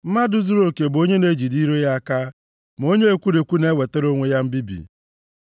Mmadụ zuruoke bụ onye na-ejide ire ya aka! + 13:3 \+xt Abụ 141:3; Ilu 21:23\+xt* Ma onye ekwuruekwu na-ewetara onwe ya mbibi.